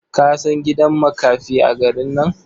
Ka san gidan makafi a garin nan?